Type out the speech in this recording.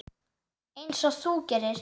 Einsog þú gerir?